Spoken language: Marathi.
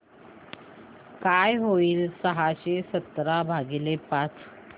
काय होईल सहाशे सतरा भागीले पाच